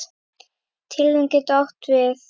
Tilraun getur átt við